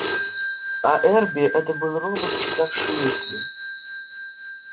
а эрби это был робот читавший мысли